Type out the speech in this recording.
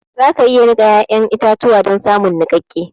za ka iya nika ya'yan itatuwa don samun nikakke